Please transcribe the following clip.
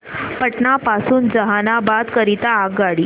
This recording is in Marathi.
पटना पासून जहानाबाद करीता आगगाडी